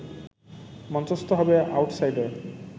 মঞ্চস্থ হবে আউটসাইডার